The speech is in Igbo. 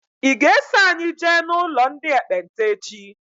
I ga -eso anyị jee n'ụlọ ndị ekpenta echi?